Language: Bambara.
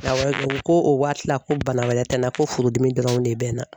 Awɔ ko o waati la ko bana wɛrɛ ti n na ko furudimi dɔrɔn de bina.